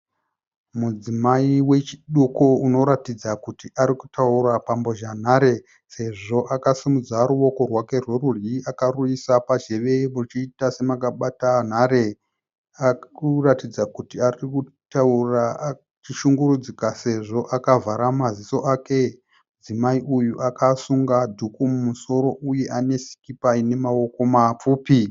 Mudzimai vechiduku unoratidza kuti ari kutaura pambozha nhare sezvo vakasimudza ruoko rwake rwerudyi akaruisa pazhewe ruchiita serakabata nhare akuratidza kuti ari kutaura achishungurudzika sezvo yakavhara maziso ake mudzimai uyu akasunga dhuku mumusoro uye ane sikipa ine maoko mapfupi